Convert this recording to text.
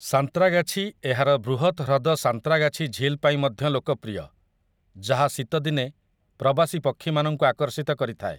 ସାନ୍ତ୍ରାଗାଛି ଏହାର ବୃହତ୍ ହ୍ରଦ ସାନ୍ତ୍ରାଗାଛି ଝିଲ୍ ପାଇଁ ମଧ୍ୟ ଲୋକପ୍ରିୟ, ଯାହା ଶୀତଦିନେ ପ୍ରବାସୀ ପକ୍ଷୀମାନଙ୍କୁ ଆକର୍ଷିତ କରିଥାଏ ।